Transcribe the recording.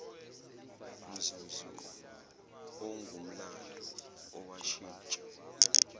mzuzu ongumlando owashintsha